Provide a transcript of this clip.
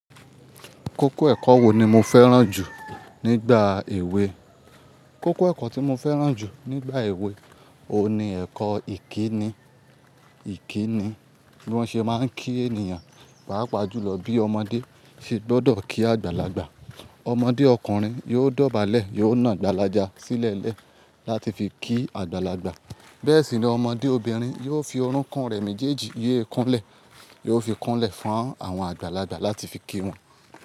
Kókó ẹ̀kọ́ wo ni mo fẹ́ràn jù nígbà èwe? Kókó ẹ̀kọ́ tí mo fẹ́ràn jù nígbà èwe ohun ni ẹ̀kọ́ ìkíni. Ìkíni bí wọ́n ṣe máa ń kí ènìyàn, pàápàá jùlọ bí ọmọdé ṣe gbọ́dọ̀ kí àgbàlagbà. Ọmọdé ọkùnrin yóò dọ̀bálẹ̀, yóò na àgbàlája sílẹ̀lẹ́ láti fi kí àgbàlagbà. Bẹ́ẹ̀ sì ni ọmọdé obìnrin yóò fi orúnkún rẹ̀ méjèèjì yéékúnlẹ̀, yóò fi kúnlẹ̀ fún àwọn àgbàlagbà láti fi kí wọn.